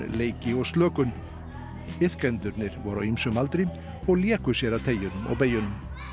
leiki og slökun iðkendurnir voru á ýmsum aldri og léku sér að og beygjunum